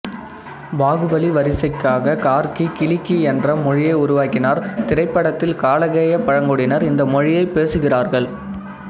பாகுபலி வரிசைக்காகக் கார்க்கி கிளிக்கி என்ற மொழியை உருவாக்கினார் திரைப்படத்தில் காலகேயா பழங்குடியினர் இந்த மொழியைப் பேசுகிறார்கள்